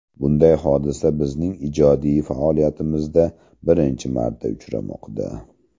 Bunday hodisa bizning ijodiy faoliyatimizda birinchi marta uchramoqda.